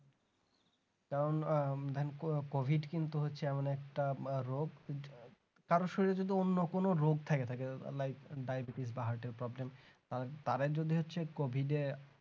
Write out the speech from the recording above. কারণ ah COVID কিন্তু হচ্ছে এমন একটা রোগ কারোর শরীরে যদি অন্য কোনো রোগ থাকে like diabetes বা heart এর problem কারণ তাদের যদি হচ্ছে COVID এর